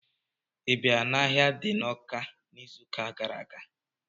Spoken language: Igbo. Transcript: Ị bịara n'ahịa di n'Ọká n'izuụka gara aga?